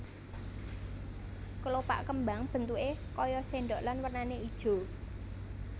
Kelopak kembang bentuké kaya sendok lan wernané ijo